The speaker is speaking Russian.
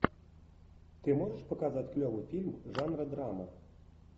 ты можешь показать клевый фильм жанра драма